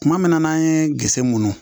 Kuma min n'an ye gese mun